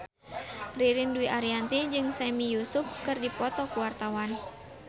Ririn Dwi Ariyanti jeung Sami Yusuf keur dipoto ku wartawan